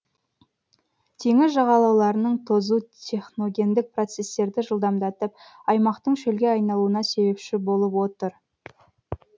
теңіз жағалауларының тозу техногендік процестерді жылдамдатып аймақтың шөлге айналуына себепші болып отыр